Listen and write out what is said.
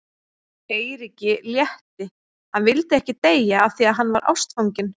Eiríki létti, hann vildi ekki deyja af því að hann var ástfanginn.